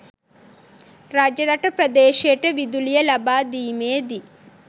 රජරට ප්‍රදේශයට විදුලිය ලබාදීමේදී